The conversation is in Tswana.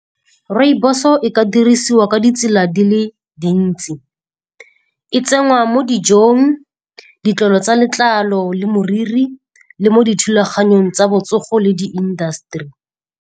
Rooibos-o e ka dirisiwa ka ditsela di le dintsi. E tsenngwa mo dijong, ditlolo tsa letlalo le moriri, le mo dithulaganyong tsa botsogo le di-industry.